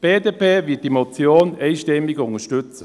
Die BDP wird diese Motion einstimmig unterstützen.